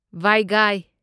ꯚꯥꯢꯒꯥꯢ